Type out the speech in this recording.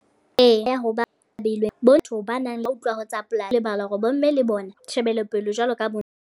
Eya ho ba behilweng. Botho ba nang le utlwa ho tsa polasi. Ba lebala hore bomme le bona, tjhebelopele jwalo ka bo na.